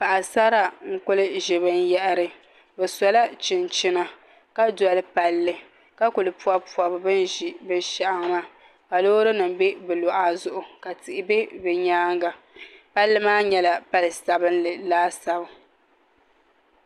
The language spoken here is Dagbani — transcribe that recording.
Paɣasara n kuli ʒi binyahri bi sola chinchina ka doli palli ka ku pobi pobi bi ni ʒi binshaɣu maa ka loori nim bɛ bi luɣa zuɣu ka tihi bɛ bi nyaanga palli maa nyɛla pali sabinli laasabu